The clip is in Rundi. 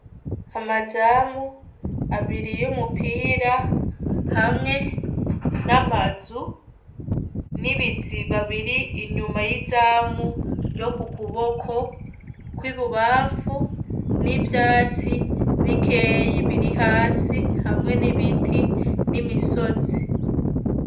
Amazamu abiri y'umupira hamwe n'amazu n'ibiziba biri inyuma y'izamu ryo ku kuboko kw'ibubamfu n'ivyatsi bikeyi biri hasi hamwe n'ibiti n'imisozi.